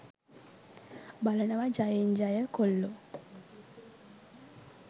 බලනවා ජයෙන් ජය කොල්ලෝ